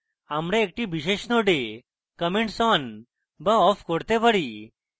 আমরা একটি বিশেষ node comments on বা off করতে পারি